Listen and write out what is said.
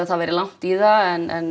það væri langt í það en